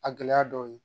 A gɛlɛya dɔw ye